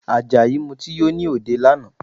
Àjàyí Mutí yó ní òde lánàá